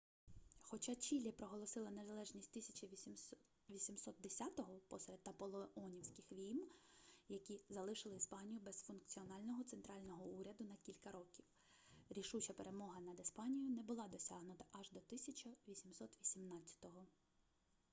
хоча чілі проголосила незалежність 1810-го посеред наполеонівських війн які залишили іспанію без функціонального центрального уряду на кілька років рішуча перемога над іспанією не була досягнута аж до 1818-го